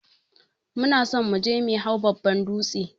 Muna son muje me hau babban dūtse.